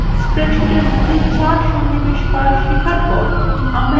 স্প্রেডশীটের মধ্যে charts সন্নিবেশ করা শেখার পর